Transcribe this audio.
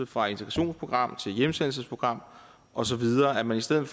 fra integrationsprogram til hjemsendelsesprogram og så videre at man som